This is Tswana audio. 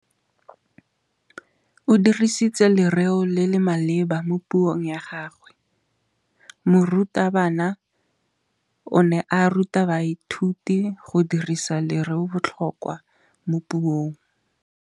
O dirisitse lerêo le le maleba mo puông ya gagwe. Morutabana o ne a ruta baithuti go dirisa lêrêôbotlhôkwa mo puong.